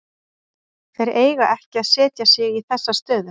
Þeir eiga ekki að setja sig í þessa stöðu.